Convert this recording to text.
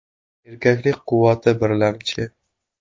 Erkaklik quvvati birlamchi!